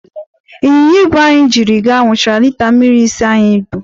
ịnyịnya ibu anyị jiri gaa, ṅụchara lita mmiri ise anyị bu.